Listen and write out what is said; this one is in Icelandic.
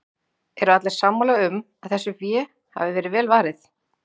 Eru allir sammála um að þessu fé hafi verið vel varið?